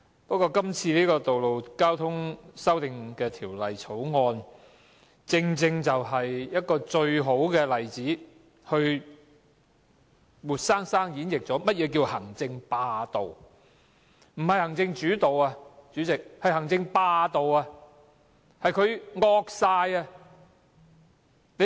不過，《2017年道路交通條例草案》正是最佳例子，活生生演繹了何謂行政霸道，不是行政主導，而是政府"惡晒"。